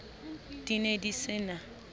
di ne di se na